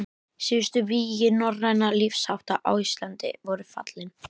Síðustu vígi norrænna lífshátta á Íslandi voru fallin.